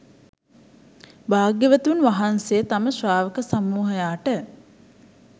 භාග්‍යවතුන් වහන්සේ තම ශ්‍රාවක සමූහයාට